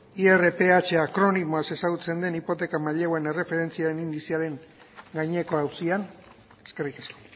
irph akronimoaz ezagutzen den hipoteka maileguen erreferentziaren indizearen gaineko auzian eskerrik asko